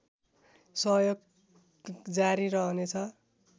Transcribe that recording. सहयोग जारी रहनेछ